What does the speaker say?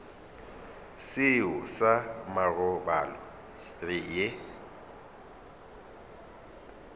seo sa marobalo re ye